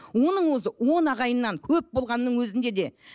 оның өзі он ағайыннан көп болғанның өзінде де